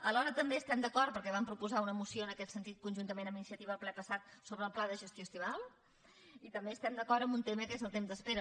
alhora també estem d’acord perquè vam proposar una moció en aquest sentit conjuntament amb iniciativa al ple passat sobre el pla de gestió estival i també estem d’acord amb un tema que és el temps d’espera